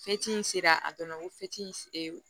in sera a dɔnna ko